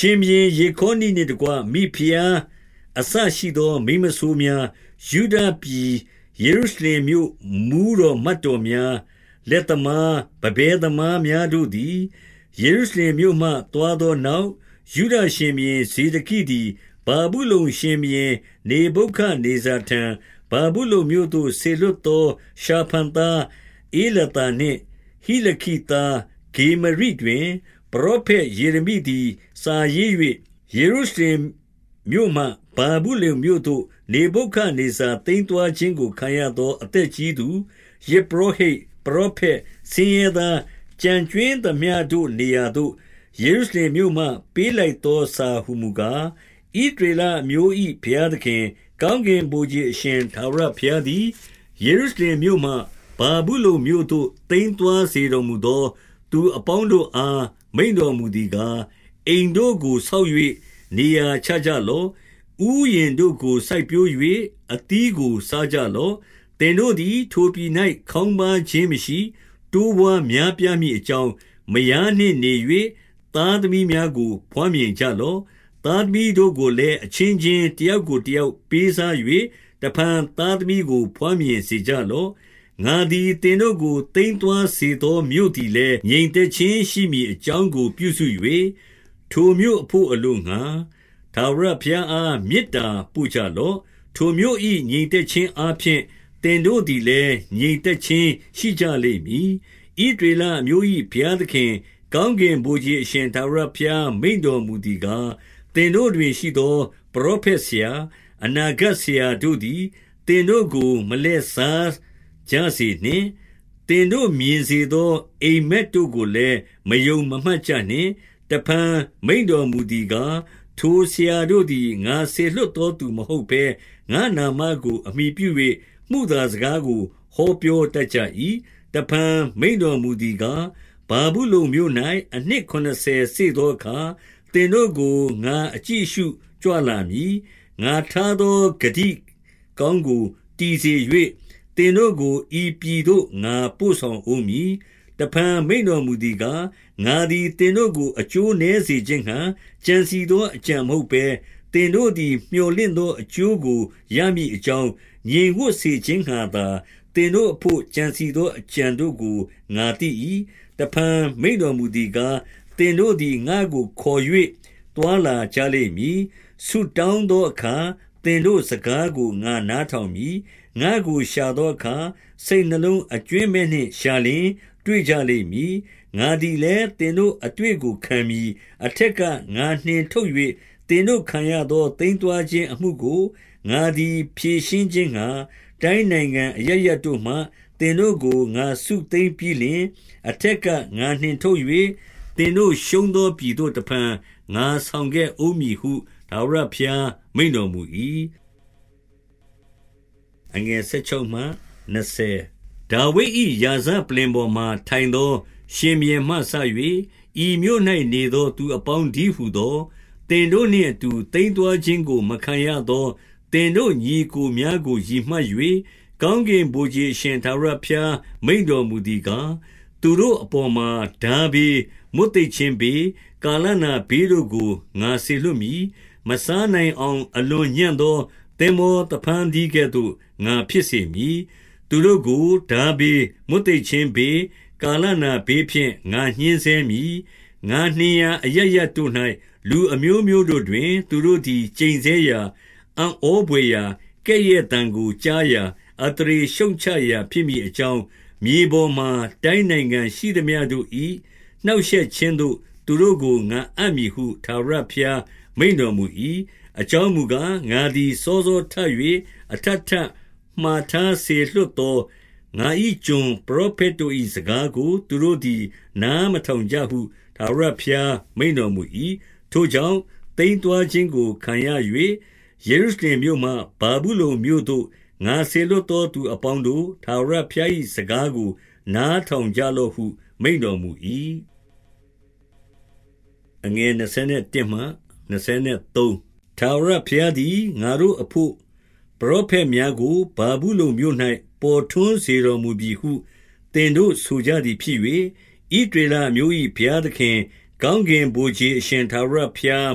ရှင်ဘုရင်ယေခေါနိနှင့်တကွ မိဖုရားအစ ရှိသော မိန်းမစိုးများ၊ ယုဒပြည် ယေရုရှလင်မြို့ မှူးတော် မတ်တော်များ၊ လက်သမား၊ ပန်းပဲသမားများတို့သည် ယေရုရှလင်မြို့မှ သွားသောနောက်၊ 2 ယုဒရှင်ဘုရင် ဇေဒကိသည် ဗာဗုလုန် ရှင်ဘုရင် နေဗုခဒ်နေဇာထံ၊ ဗာဗုလုန်မြို့သို့ စေလွှတ်သော ရှာဖန်သား ဧလာသာနှင့် ဟိလခိသား ဂေမရိတွင်၊ ပရောဖက်ယေရမိသည် စာရေး ၍ ယေရုရှလင်မြို့မှ ဗာဗုလုန်မြို့သို့ နေဗုခဒ်နေဇာ သိမ်းသွားခြင်းကို ခံရသော အသက်ကြီးသူ၊ 3 ယဇ်ပုရော ဟိတ်၊ ပရောဖက်၊ ဆင်းရဲသား ကျန်ကြွင်းသမျှတို့ နေရာ သို့ ယေရုရှလင်မြို့မှ ပေးလိုက်သောစာဟူမူကား၊ 4 ဣသရေလအမျိုး၏ ဘုရားသခင်၊ ကောင်းကင် ဗိုလ်ခြေအရှင် ထာဝရဘုရားသည် ယေရုရှလင်မြို့မှ ဗာဗုလုန်မြို့သို့ သိမ်းသွားစေတော်မူသော သူအပေါင်းတို့ အား မိန့်တော်မူသည်ကား၊ 5 အိမ်တို့ကိုဆောက်၍ နေရာချကြလော့။ 6 ဥယျာဉ်တို့ကို စိုက်ပျိုး၍ အသီးကို စားကြလော့။ သင်တို့သည် ထိုပြည်၌ ခေါင်းပါးခြင်းမရှိ၊ တိုးပွားများပြားမည်အကြောင်း၊ မယားနှင့်နေ၍ သားသမီးကို ဘွားမြင်ကြလော့။ သားသမီးတို့ကိုလည်း၊ အချင်းချင်း တယောက်ကိုတယောက်ပေးစား၍၊ တဖန်သားသမီးကို ဘွားမြင်စေကြလော့။ 7 ငါသည် သင်တို့ကို သိမ်းသွားစေသောမြို့သည်လည်း၊ ငြိမ်သက်ခြင်းရှိမည်အကြောင်းကို ပြုစု၍၊ ထိုမြို့အဘို့အလိုငှာ၊ ထာဝရဘုရားအား မေတ္တာပို့ကြလော့။ ထိုမြို့၏ငြိမ်သက်ခြင်းအားဖြင့်၊ သင်တို့သည်လည်း ငြိမ်သက်ခြင်းရှိကြလိမ့်မည်။ 8 ဣသရေလအမျိုး၏ဘုရားသခင်၊ ကောင်းကင်ဗိုလ်ခြေအရှင် ထာဝရဘုရားမိန့်တော်မူသည်ကား၊ သင်တို့တွင်ရှိသော ပရောဖက်ဆရာ၊ အနာဂတ်ဆရာတို့သည် သင်တို့ကို မလှည့်စားကြစေနှင့်။ သင်တို့မြင် စေသော အိပ်မက်တို့ကိုလည်း မယုံမမှတ်ကြနှင့်။ 9 တဖန်မိန့်တော်မူသည်ကား၊ ထိုဆရာတို့သည် ငါစေလွှတ်သောသူမဟုတ်ဘဲ၊ ငါ့နာမကို အမှီပြု၍ မုသာစကားကို ဟောပြောတတ်ကြ၏။ 10 တဖန်မိန့်တော်မူသည်ကား၊ ဗာဗုလုန်မြို့၌အနှစ်ခုနစ်ဆယ်စေ့သောအခါ၊ သင်တို့ကို ငါအကြည့်အရှု ကြွလာမည်။ ငါထားသော ဂတိကောင်းကိုတည်စေ၍၊ သင်တို့ကို ဤပြည်သို့ငါပို့ဆောင်ဦးမည်။ 11 တဖန်မိန့်တော်မူသည်ကား၊ ငါသည် သင်တို့ကိုအကျိုးနည်းစေခြင်းငှာ ကြံစည်သော အကြံမဟုတ်ဘဲ၊ သင်တို့သည် မြော်လင့်သော အကျိုးကိုရမည်အကြောင်း၊ ငြိမ်ဝပ်စေခြင်းငှာသာ၊ သင်တို့အဘို့ ကြံစည်သော အကြံတို့ကို ငါသိ၏။ 12 တဖန်မိန့်တော်မူသည်ကား၊ သင်တို့သည် ငါ့ကိုခေါ်၍ သွားလာကြလိမ့်မည်။ ဆုတောင်းသောအခါ သင်တို့စကားကို ငါနားထောင်မည်။ 13 ငါ့ကိုရှာသောအခါ စိတ်နှလုံးအကြွင်းမဲ့နှင့်ရှာလျှင် တွေ့ကြလိမ့်မည်။ 14 ငါသည်လည်း၊ သင်တို့အတွေ့ကို ခံမည်။ အထက်ကငါနှင်ထုတ်၍ သင်တို့ခံရသော သိမ်းသွားခြင်း အမှုကို ငါသည်ဖြေရှင်းခြင်းငှာ၊ တိုင်းနိုင်ငံ အရပ်ရပ်တို့မှ သင်တို့ကို ငါစုသိမ်းပြီးလျှင်၊ အထက်က ငါနှင်ထုတ် ၍ သင်တို့ရှုံးသောပြည်သို့ တဖန်ငါဆောင်ခဲ့ဦး မည်ဟုသာ ထာဝရဘုရားမိန့်တော်မူ၏။ 15 ဒါဝိဒ်၏ ရာဇပလ္လင်ပေါ်မှာထိုင်သော ရှင်ဘုရင်မှစ၍၊ ဤမြို့၌ နေသောသူအပေါင်းတည်းဟူသော၊ သင်တို့နှင့်အတူ သိမ်းသွားခြင်းကို မခံရသော သင်တို့ညီအစ်ကိုများကိုရည်မှတ်၍၊ 16 ကောင်းကင်ဗိုလ်ခြေအရှင်ထာဝရဘုရားမိန့်တော်မူသည်ကား၊ သူတို့အပေါ်မှာထားဘေး၊ မွတ်သိပ်ခြင်း ဘေး၊ ကာလနာဘေးတို့ကို ငါစေလွှတ်မည်။ မစားနိုင်အောင် အလွန်ညံ့သော သင်္ဘောသဖန်းသီးကဲ့သို့ ငါဖြစ်စေမည်။ 17 သူတို့ကို ထားဘေး၊ မွတ်သိပ်ခြင်းဘေး၊ ကာလနာဘေးဖြင့် ငါညှဉ်းဆဲမည်။ ငါနှင်ရာအရပ်ရပ်တို့၌ လူအမျိုးမျိုးတို့တွင်၊ သူတို့သည် ကျိန်ဆဲရာ၊ အံ့ဘွယ်ရာ၊ ကဲ့ရဲ့သံကိုကြားရာ၊ အသရေရှုတ်ချရာဖြစ်မည် အကြောင်း၊ မြေပေါ်မှာ တိုင်းနိုင်ငံ ရှိသမျှတို့၏ နှောင့်ရှက်ခြင်းသို့ သူတို့ကို ငါအပ်မည်ဟု ထာဝရဘုရား မိန့်တော်မူ၏။ 18 အကြောင်းမူကား၊ ငါသည် စောစောထ၍၊ အထပ်ထပ် မှာထားစေလွှတ်သော ငါ၏ကျွန်ပရောဖက် တို့၏ စကားကို သူတို့သည် နားမထောင်ကြဟု ထာဝရဘုရား မိန့်တော်မူ၏။ 19 ထို့ကြောင့် သိမ်းသွားခြင်းကို ခံရ၍၊ ယေရုရှလင်မြို့မှ ဗာဗုလုန်မြို့သို့ ငါစေလွှတ်သောသူအပေါင်းတို့၊ ထာဝရဘုရား၏ စကားကို နားထောင်ကြလော့ဟု မိန့်တော်မူ၏။ 20 ထာဝရဘုရားသည် ငါတို့အဘို့ ပရောဖက်များကို ဗာဗုလုန်မြို့၌ ပေါ်ထွန်းစေတော်မူပြီဟု သင်တို့ ဆိုကြသည်ဖြစ်၍၊ 21 ဣသရေလအမျိုး၏ ဘုရားသခင်၊ ကောင်းကင်ဗိုလ်ခြေ အရှင်ထာဝရဘုရား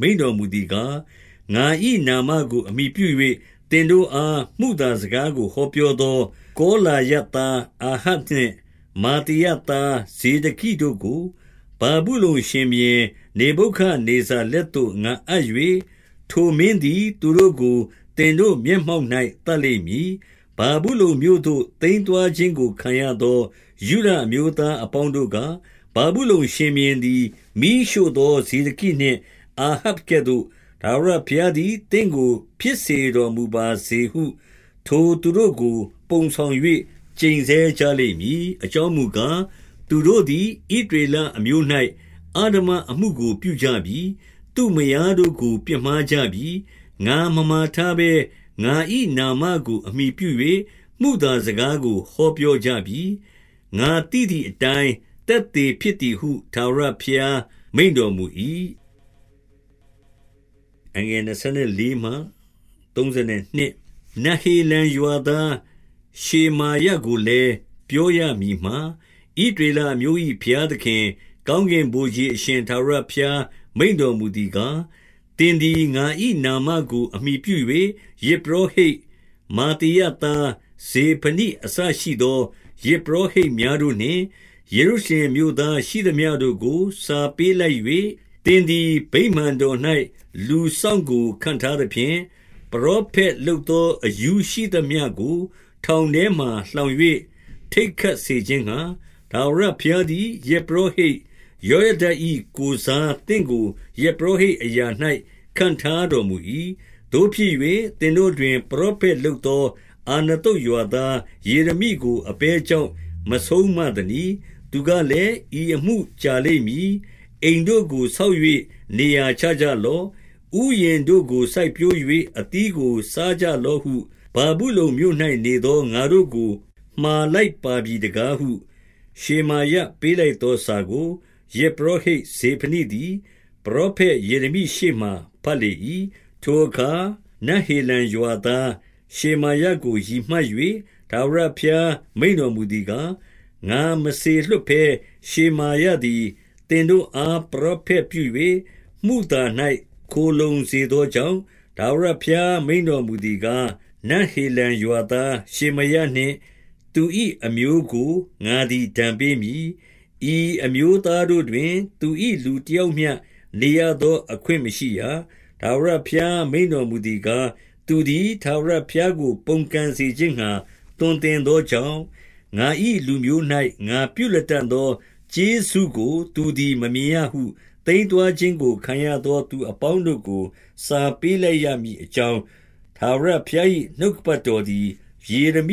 မိန့်တော်မူသည်ကား၊ ငါ၏နာမကို အမှီပြု၍ သင်တို့အား မုသားစကားကို ဟောပြောသော၊ ကောလာယသား အာဟပ်နှင့် မာသေယသား ဇေဒကိတို့ကို ဗာဗုလုန်ရှင်ဘုရင် နေဗုခဒ်နေဇာလက်သို့ ငါအပ်၍၊ ထိုမင်းသည် သူတို့ကို သင်တို့မျက်မှောက်၌ သတ်လိမ့်မည်။ 22 ဗာဗုလုန်မြို့သို့ သိမ်းသွားခြင်းကို ခံရသော ယုဒအမျိုးသားအပေါင်းတို့က၊ ဗာဗုလုန်ရှင်ဘုရင်သည် မီးရှို့သောဇေဒကိနှင့် အာဟပ်ကဲ့သို့၊ ထာဝရဘုရားသည် သင့်ကို ဖြစ်စေတော်မူပါစေဟု ထိုသူတို့ကို ပုံဆောင်၍ ကျိန်ဆဲကြလိမ့်မည်။ 23 အကြောင်းမူကား၊ သူတို့သည် ဣသရေလအမျိုး၌ အဓမ္မအမှုကို ပြုကြပြီ။ သူ့မယားတို့ကို ပြစ်မှားကြပြီ။ ငါမမှာထားဘဲ၊ ငါ၏နာမကို အမှီပြု၍ မုသာစကားကို ဟောပြောကြပြီ။ ငါသိသည်အတိုင်း သက်သေဖြစ်သည်ဟု ထာဝရဘုရား မိန့်တော်မူ၏။ 24 နဟေလံရွာသား ရှေမာယကိုလည်း ပြောရမည်မှာ 25 ဣသရေလအမျိုး၏ ဘုရားသခင်၊ ကောင်းကင်ဗိုလ်ခြေအရှင်ထာဝရဘုရား မိန့်တော်မူသည်ကား၊ သင်သည် ငါ၏နာမကို အမှီပြု၍၊ ယဇ်ပုရောဟိတ်မာသေယသား ဇေဖနိအစရှိသော ယဇ်ပုရောဟိတ်များတို့နှင့် ယေရုရှလင်မြို့သား ရှိသမျှတို့ကို စာပေးလိုက်၍၊ 26 သင်သည် ဗိမာန်တော်၌ လူစောင့်ကို ခန့်ထားသဖြင့်၊ ပရောဖက် လုပ်သော အရူးရှိသမျှကို ထောင်ထဲမှာလှောင်၍ ထိတ်ခတ်စေခြင်းငှာ၊ ထာဝရဘုရားသည် ယဇ်ပုရောဟိတ် ယောယဒ၏ကိုယ်စား သင့်ကို ယဇ်ပုရောဟိတ်အရာ၌ ခန့်ထားတော်မူ၏။ 27 သို့ဖြစ်၍၊ သင်တို့တွင် ပရောဖက်လုပ်သော အာနသုတ်ရွာသား ယေရမိကို အဘယ်ကြောင့် မဆုံးမ သနည်း။ 28 သူကလည်း၊ ဤအမှု ကြာလိမ့်မည်။ အိမ်တို့ကို ဆောက်၍ နေရာချကြလော့။ ဥယျာဉ်တို့ကို စိုက်ပျိုး ၍ အသီးကို စားကြလော့ဟု၊ ဗာဗုလုန်မြို့၌နေသော ငါတို့ကို မှာလိုက်ပါပြီတကားဟု၊ 29 ရှေမာယပေးလိုက်သောစာကို ယဇ်ပုရောဟိတ် ဇေဖနိသည် ပရောဖက် ယေရမိရှေ့မှာ ဘတ်လေ၏။ 30 ထိုအခါ နဟေလံရွာသား ရှေမာယကို ရည်မှတ်၍၊ ထာဝရဘုရားမိန့်တော်မူသည်ကား၊ ငါမလွှတ်ဘဲ ရှေမာယသည် သင်တို့အား ပရောဖက်ပြု၍ မုသာ၌ ခိုလှုံစေသောကြောင့်၊ ထာဝရဘုရား မိန့်တော်မူသည်ကား၊ နဟေလံရွာသား ရှေမာယနှင့် သူ၏အမျိုးကို ငါသည် ဒဏ်ပေးမည်။ ဤအမျိုးသားတို့တွင်၊ သူ၏လူ တယောက်မျှ နေရသောအခွင့် မရှိရ။ ထာဝရဘုရား မိန့်တော်မူသည်ကား၊ သူသည် ထာဝရဘုရားကို ပုန်ကန်စေခြင်းငှာ သွန်သင်သောကြောင့်၊ ငါ၏လူမျိုး၌ ငါပြုလတံ့သောကျေးဇူးကို သူသည် မမြင်ရဟု၊ သိမ်းသွားခြင်းကို ခံရသောသူအပေါင်းတို့ကို စာပေးလိုက်ရမည်အကြောင်း ထာဝရဘုရား၏ နှုတ်ကပတ်တော်သည် ယေရမိ